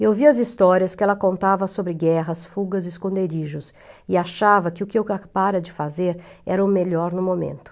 Eu via as histórias que ela contava sobre guerras, fugas e esconderijos e achava que o que eu para de fazer era o melhor no momento.